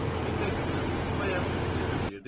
Bilmək istəyirəm, bayaq ciddi deyirdiz?